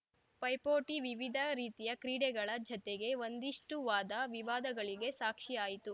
ಪೈಪೋಟಿ ವಿವಿಧ ರೀತಿಯ ಕ್ರೀಡೆಗಳ ಜತೆಗೆ ಒಂದಿಷ್ಟುವಾದ ವಿವಾದಗಳಿಗೆ ಸಾಕ್ಷಿ ಆಯಿತು